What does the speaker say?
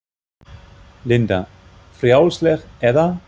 Linda: Frjálsleg, eða?